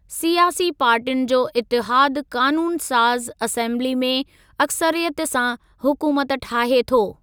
सियासी पार्टियुनि जो इतिहादु क़ानूनु साज़ असेम्बिली में अक्सरियत सां हुकूमत ठाहे थो।